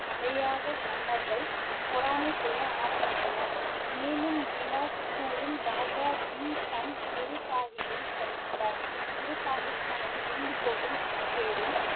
மன்னர்கள் பொறாமை கொள்ள ஆரம்பித்தனர் மேலும் பிலாஸ்பூரின் ராஜா பீம் சந்த் குரு சாஹிப்பை சந்தித்தார் குரு சாஹிப் தனது வேண்டுகோளின் பேரில்